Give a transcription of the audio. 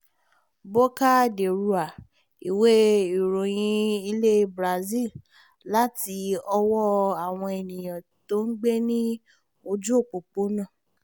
boca de rua iwe ìròyìn ilé brazil láti ọwọ́ àwọn ènìyàn tí ó ń gbé ní ojú òpópónà